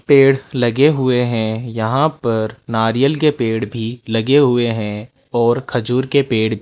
पेड़ लगे हुए हैं यहां पर नारियल के पेड़ भी लगे हुए हैं और खजूर के पेड़ --